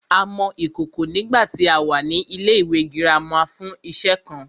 A mọ ìkòkò nígbàtí a wà ní ilẹ́ ìwé girama fún iṣe kan